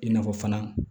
I n'a fɔ fana